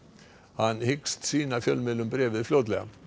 hann hyggst sýna fjölmiðlum bréfið fljótlega